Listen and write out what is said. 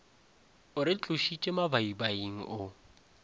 o re tlošitše mabaibaing o